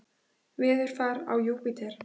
Veðurfar á Júpíter